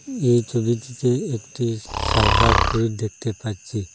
এই ছবিটিতে একটি সাদা প্লেট দেখতে পাচ্ছি।